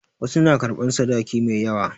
Wasu na karɓan sadaki mai yawa.